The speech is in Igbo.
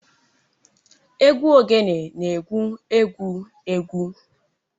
Egwu ogene na-egwu egwu egwu